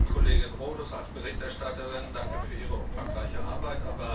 Frau Kollegin Rodust als Berichterstatterin Danke für Ihre umfangreiche Arbeit.